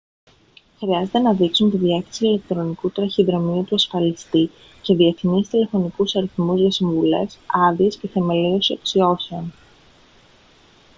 χρειάζεται να δείξουν τη διεύθυνση ηλεκτρονικού ταχυδρομείου του ασφαλιστή και διεθνείς τηλεφωνικούς αριθμούς για συμβουλές/άδειες και θεμελίωση αξιώσεων